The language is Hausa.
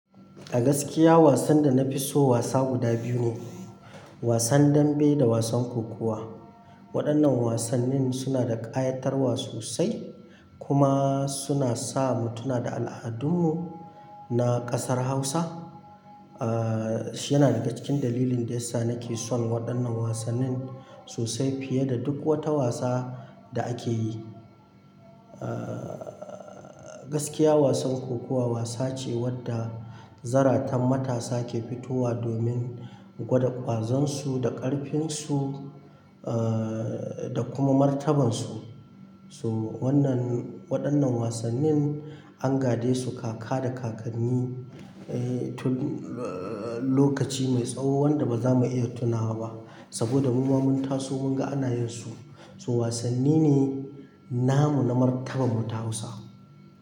A gaskiya wasan da na fi so wasa guda biyu ne, wasan dambe da wasan kokuwa. Waɗannan wasannin suna da ƙayatarwa sosai kuma suna sa mu tuna da al'adunmu na ƙasar Hausa. Aa shi yana daga cikin dalilin da yasa nake son waɗannan wasannin sosai fiye da duk wata wasa da ake yi. Aa gaskiya wasan kokuwa wasa ce wadda zaratan matasa ke fitowa domin gwada ƙwazonsu da ƙarfinsu aa da kuma martabarsu. So wannan, waɗannan wasannin an ga desu kaka da kakanni eh lokaci mai tsawo wanda ba za mu iya tunawa ba. Saboda mu ma mun taso mun ga anayensu. So wasanni ne namu na martabar mu ta Hausa.